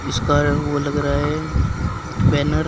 उसका वो लग रहा है बैनर --